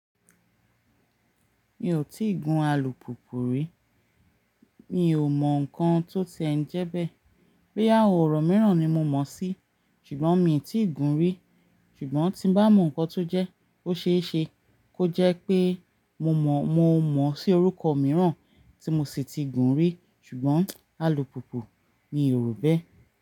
Mi ò tí ì gun alùpùpù rí, mi ò mọ̀ nǹkan tó ti ń jẹ́ bẹ́ẹ̀. Boya àwọn ọ̀rọ̀ mìíràn ni mo mọ̀ sí, ṣùgbọ́n mi tí gun rí. Ṣùgbọ́n tí n bá mọ̀ nǹkan tó jẹ́, ó ṣesé kó jẹ́ pé mo mọ̀. Mo mọ̀ sí orúkọ mìíràn tí mo sì ti gun rí, ṣùgbọ́n alùpùpù mi rò bẹ́ẹ̀